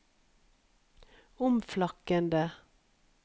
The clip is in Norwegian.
omflakkende